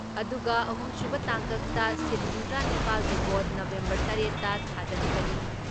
ꯑꯗꯨꯒ ꯑꯍꯨꯝꯁꯨꯕ ꯇꯥꯡꯀꯛꯇ ꯁꯤꯠ ꯍꯨꯝꯗ꯭ꯔꯥ ꯅꯤꯄꯥꯜꯒꯤ ꯚꯣꯠ ꯅꯕꯦꯝꯕꯔ ꯇꯔꯦꯠ ꯇ ꯊꯥꯗꯅꯒꯅꯤ ꯫